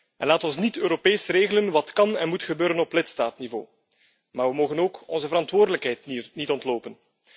En laat ons niet Europees regelen wat kan en moet gebeuren op lidstaatniveau, maar we mogen ook onze verantwoordelijkheid niet ontlopen.